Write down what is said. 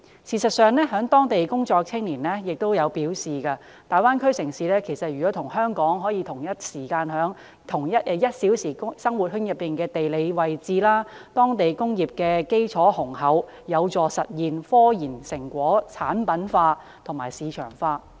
事實上，有在當地工作的青年亦表示，大灣區城市與香港同在 "1 小時生活圈"內的地理位置，當地工業基礎雄厚，有助實現科研成果產品化和市場化。